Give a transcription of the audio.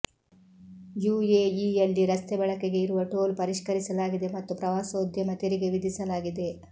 ಯುಎಇಯಲ್ಲಿ ರಸ್ತೆ ಬಳಕೆಗೆ ಇರುವ ಟೋಲ್ ಪರಿಷ್ಕರಿಸಲಾಗಿದೆ ಮತ್ತು ಪ್ರವಾಸೋದ್ಯಮ ತೆರಿಗೆ ವಿಧಿಸಲಾಗಿದೆ